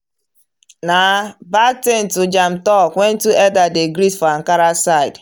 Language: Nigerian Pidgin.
na bad thing to jam talk when two elder dey greet for ankara side.